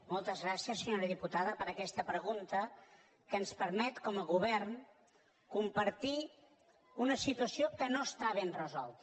moltes gràcies senyora diputada per aquesta pregunta que ens permet com a govern compartir una situació que no està ben resolta